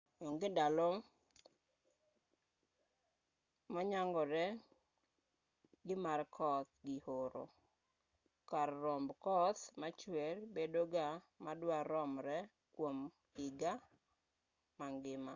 onge ndalo myangore ni mar koth gi oro kar romb koth machuer bedo ga ma dwa romre kuom higa mangima